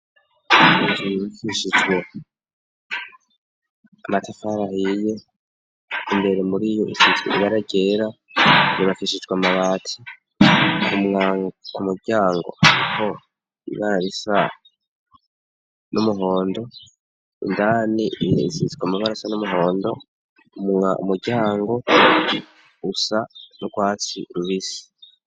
Inzu yubakishijwe amatafari ahiye, imbere muriyo isizwe ibara ryera, yubakishijwe amabati, ku muryango hariho ibara risa n'umuhondo, indani isizwe amabara asa n'umuhondo, umuryango usa n'urwatsi rubisi.